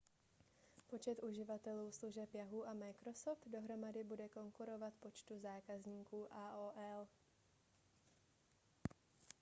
počet uživatelů služeb yahoo a microsoft dohromady bude konkurovat počtu zákazníků aol